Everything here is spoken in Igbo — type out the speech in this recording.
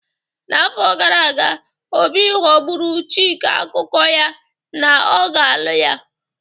N'afọ gara aga, Obi ghọgburu chick akụkụ ya na ọ ga-alụ ya